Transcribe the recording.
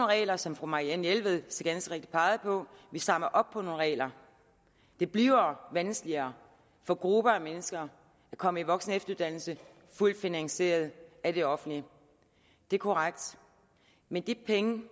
regler som fru marianne jelved så ganske rigtigt pegede på vi strammer op på nogle regler det bliver vanskeligere for grupper af mennesker at komme i voksen og efteruddannelse fuldt finansieret af det offentlige det er korrekt men de penge